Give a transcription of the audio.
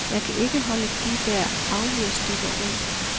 Jeg kan ikke holde de der afvigerstykker ud.